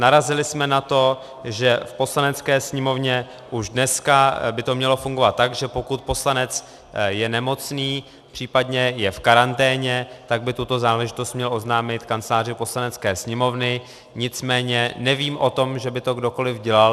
Narazili jsme na to, že v Poslanecké sněmovně už dneska by to mělo fungovat tak, že pokud poslanec je nemocný, případně je v karanténě, tak by tuto záležitost měl oznámit Kanceláři Poslanecké sněmovny, nicméně nevím o tom, že by to kdokoliv dělal.